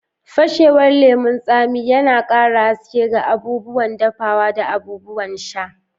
Fashewar lemon tsami, yana ƙara haske ga abubuwan dafuwa da abubuwan sha.